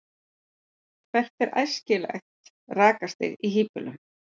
hvert er æskilegt rakastig í hýbýlum